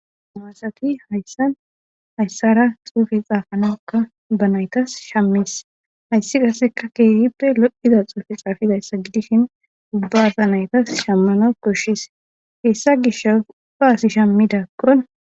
Mawasati hayssan hayssara xuufe xaafanokka ba naytas shammis hayssi qaseka keegippe lo7iza xuufe xaafidayssa gidishin ubba asa naytas shammana koshshis hessa gish ubba asi shammidakkon